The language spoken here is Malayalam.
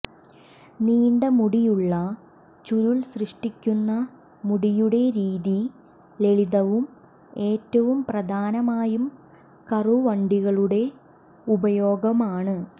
നീണ്ട മുടിയുള്ള ചുരുൾ സൃഷ്ടിക്കുന്ന മുടിയുടെ രീതി ലളിതവും ഏറ്റവും പ്രധാനമായും കറുവണ്ടികളുടെ ഉപയോഗമാണ്